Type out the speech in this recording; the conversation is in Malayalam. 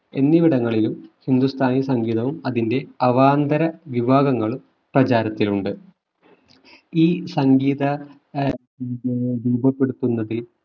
എന്നിവിടങ്ങളിലും ഹിന്ദുസ്ഥാനി സംഗീതവും അതിന്റെ അവാന്തര വിഭാഗങ്ങളും പ്രചാരത്തിലുണ്ട് ഈ സംഗീത ഏർ രൂപപ്പെടുത്തുന്നതിൽ